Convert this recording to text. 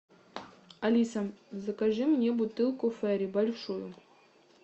алиса закажи мне бутылку фери большую